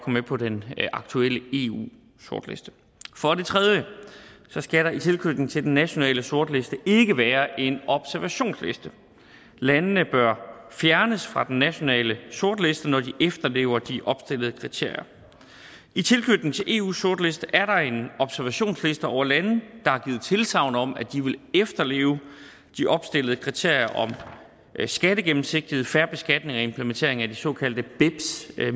med på den aktuelle eu sortliste for det tredje skal der i tilknytning til den nationale sortliste ikke være en observationsliste landene bør fjernes fra den nationale sortliste når de efterlever de opstillede kriterier i tilknytning til eus sortliste er der en observationsliste over lande der har givet tilsagn om at de vil efterleve de opstillede kriterier om skattegennemsigtighed fair beskatning og implementering af de såkaldte beps